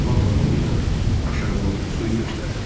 Lam barmağı ilə aşağıını, suyu göstərdi.